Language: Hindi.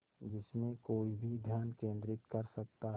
जिसमें कोई भी ध्यान केंद्रित कर सकता है